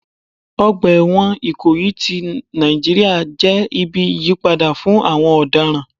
Ọgbà ẹ̀wọ̀n Ikoyi ti Nàìjíríà jẹ́ ibi ìyípadà fún àwọn ọ̀daràn.